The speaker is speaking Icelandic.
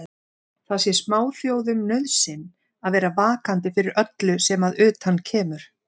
Það sé smáþjóðum nauðsyn að vera vakandi fyrir öllu sem að utan kemur.